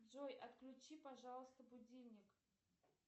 джой отключи пожалуйста будильник